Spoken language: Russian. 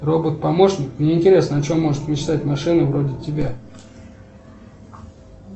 робот помощник мне интересно о чем может мечтать машина вроде тебя